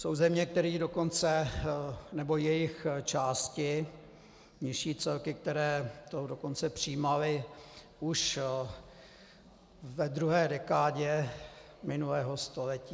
Jsou země, které dokonce, nebo jejich části, nižší celky, které to dokonce přijímaly už ve druhé dekádě minulého století.